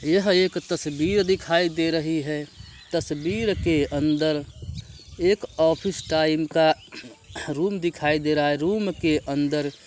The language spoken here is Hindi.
यह एक तस्वीर दिखाई दे रही है। तस्वीर के अंदर एक ऑफिस टाइम का रूम दिखाई दे रहा है रूम के अंदर --